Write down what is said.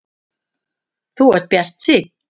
Þú ert bjartsýnn!